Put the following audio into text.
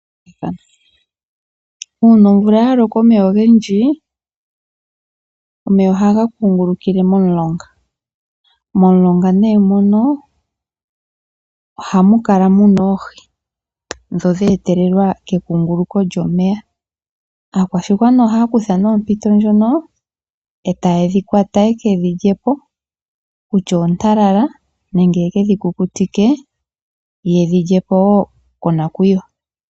Uuna omvula ya loka omeya ogendji omeya ohaga kungulukile momulonga . Momulonga nee mono ohamu kala muna oohi ndhono dha etelelwa ke kunguluko lyomeya .Aakwashigwana ohaya kutha nee ompito ndjono e tayedhi kwata ye kedhi lyepo kutya oontalala nenge ye kedhi kukutike yedhi lyepo woo konakuyiwa